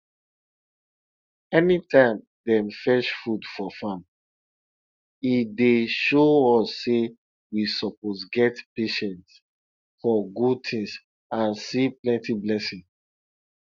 anytime dem fetch food for farm e dey show us say we suppose get patience for good things and see plenty blessing